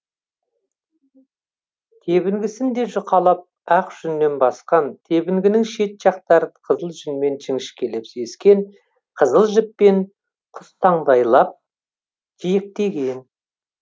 тебінгісін де жұқалап ақ жүннен басқан тебінгінің шет жақтарын қызыл жүннен жіңішкелеп ескен қызыл жіппен құстаңдайлап жиектеген